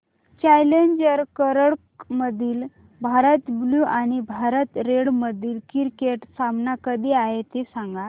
challenger करंडक मधील Bharat blue आणि भारत रेड मधील क्रिकेट सामना कधी आहे ते सांगा